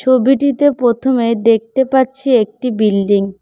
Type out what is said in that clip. ছবিটিতে প্রথমে দেখতে পাচ্ছি একটি বিল্ডিং ।